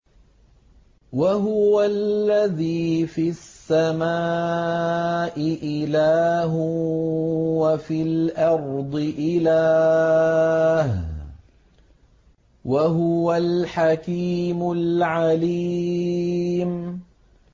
وَهُوَ الَّذِي فِي السَّمَاءِ إِلَٰهٌ وَفِي الْأَرْضِ إِلَٰهٌ ۚ وَهُوَ الْحَكِيمُ الْعَلِيمُ